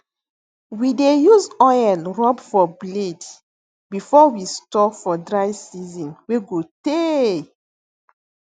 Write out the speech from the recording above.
we dey use oil rub for blade before we store for dry season wey go tey